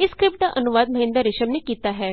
ਇਸ ਸਕਰਿਪਟ ਦਾ ਅਨੁਵਾਦ ਮਹਿੰਦਰ ਰਿਸ਼ਮ ਨੇ ਕੀਤਾ ਹੈ